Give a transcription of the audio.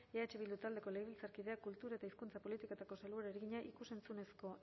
eh bildu taldeko legebiltzarkideak kultura eta hizkuntza politikako sailburuari egina ikus entzunezko